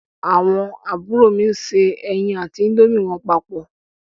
Àwọn àbúrò mi se ẹyin àti índómì wọn papọ̀.